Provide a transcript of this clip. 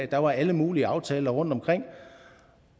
der var alle mulige aftaler rundtomkring